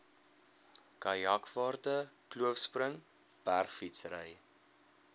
kajakvaarte kloofspring bergfietsry